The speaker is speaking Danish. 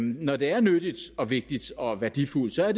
når det er nyttigt og vigtigt og værdifuldt er